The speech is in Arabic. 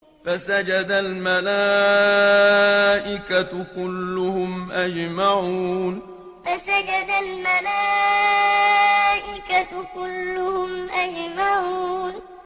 فَسَجَدَ الْمَلَائِكَةُ كُلُّهُمْ أَجْمَعُونَ فَسَجَدَ الْمَلَائِكَةُ كُلُّهُمْ أَجْمَعُونَ